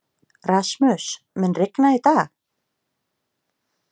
Rasmus, mun rigna í dag?